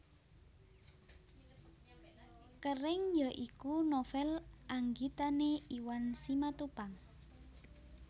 Kering ya iku novel anggitane Iwan Simatupang